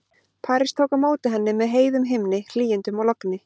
París tók á móti henni með heiðum himni, hlýindum og logni.